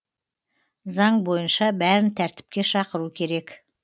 заң бойынша бәрін тәртіпке шақыру керек